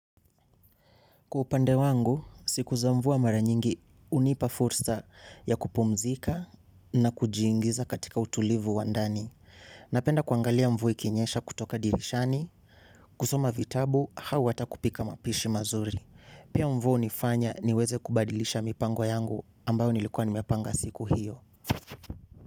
Kwa upande wangu, siku za mvua mara nyingi hunipa fursa ya kupumzika na kujiingiza katika utulivu wa ndani. Napenda kuangalia mvua ikinyesha kutoka dirishani, kusoma vitabu, au ata kupika mapishi mazuri. Pia mvua hunifanya niweze kubadilisha mipango yangu ambayo nilikuwa nimepanga siku hiyo.